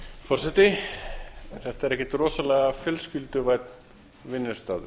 forseti þetta er ekkert rosalega fjölskylduvænn vinnustaður